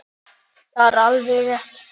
Það er alveg rétt.